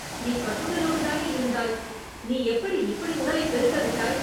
நீ கட்டுடலோடுதானே இருந்தாய், நீ எப்படி இப்படி உடலைப் பெருக்க விட்டாய்!